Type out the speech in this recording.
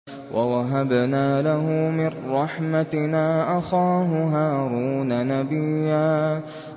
وَوَهَبْنَا لَهُ مِن رَّحْمَتِنَا أَخَاهُ هَارُونَ نَبِيًّا